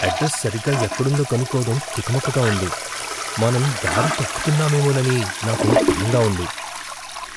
Address సరిగ్గా ఎక్కడుందో కనుక్కోవడం తికమకగా ఉంది. మనం దారి తప్పుతున్నామేమోనని నాకు భయంగా ఉంది.